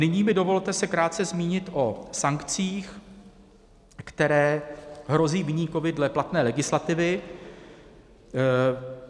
Nyní mi dovolte se krátce zmínit o sankcích, které hrozí viníkovi dle platné legislativy.